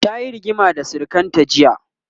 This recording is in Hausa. tayi rigima da sirikanta jiya